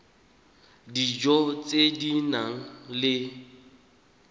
dijo tse di nang le